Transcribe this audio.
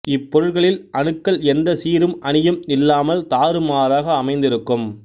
இப்பொருட்களில் அணுக்கள் எந்த சீரும் அணியும் இல்லாமல் தாறுமாறாக அமைந்து இருக்கும்